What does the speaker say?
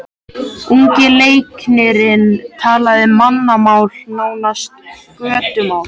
Ungi læknirinn talaði mannamál, nánast götumál.